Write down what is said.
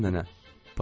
Salam nənə.